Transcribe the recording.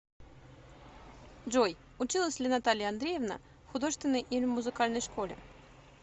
джой училась ли наталья андреевна в художественной или музыкальной школе